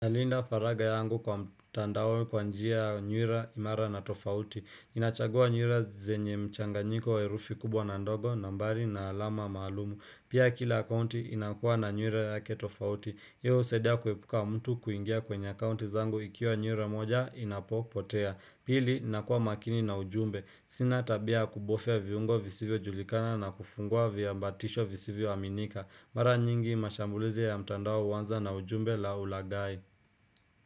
Nalinda faragha yangu kwa mtandao kwa njia nywila imara na tofauti. Inachagua nywila zenye mchanganyiko wa herufi kubwa na ndogo na bali na alama maalumu. Pia kila accouti inakuwa na nywila yake tofauti. Hii husadia kuepuka mtu kuingia kwenye akaunti zangu ikiwa nywila moja inapopotea. Pili, nakuwa makini na ujumbe. Sina tabia ya kubofya viungo visivyojulikana na kufungua viambatisho visivyoaminika. Mara nyingi mashambulizi ya mtandao huanza na ujumbe na ulagai.